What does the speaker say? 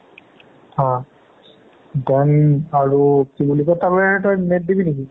অ then আৰু কি বুলি কই তই net দিবি নেকি?